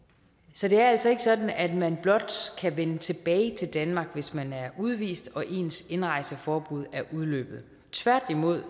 så det er altså ikke sådan at man blot kan vende tilbage til danmark hvis man er udvist og ens indrejseforbud er udløbet tværtimod